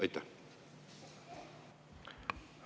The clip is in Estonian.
Aitäh!